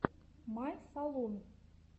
май салун